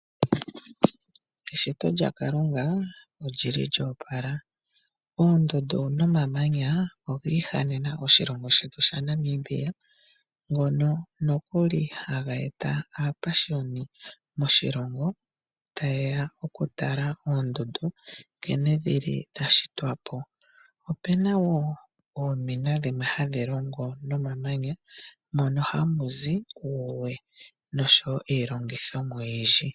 Eshito lya Kalunga olyo opala. Oondundu nomamanya ogi ihanena oshilongo shetu shaNamibia ngono nokuli haga eta aapashuni moshilongo, taye ya okutala oondundu, nkene dhi li dha shitwa po. Ope na woo oomina dhimwe hadhi longo nomamanya mono hamu zi uuwe nosho wo iilongithomwa oyindji.